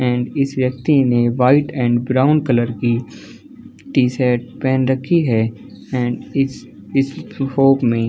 and इस व्यक्ति ने वाइट एंड ब्राउन कलर की टी शर्ट पहन रखी है एंड इस इस होप में --